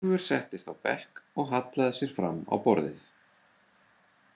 Úlfur settist á bekk og hallaði sér fram á borðið.